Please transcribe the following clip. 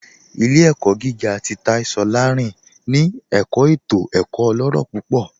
Ilẹ̀-ẹ̀kọ̀ gígà tì Táì Sọ́lárìn tì ẹ̀kọ̀ ètò ẹ̀kọ̀ ọlọ́rọ̀ púpọ̀